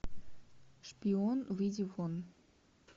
шпион выйди вон